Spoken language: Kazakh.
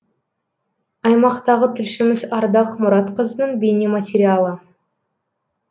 аймақтағы тілшіміз ардақ мұратқызының бейнематериалы